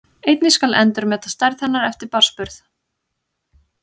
Einnig skal endurmeta stærð hennar eftir barnsburð.